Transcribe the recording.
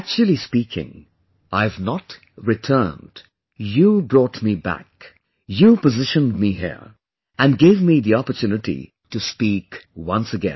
Actually speaking, I have not RETURNED; you brought me back, you positioned me here and gave me the opportunity to speak once again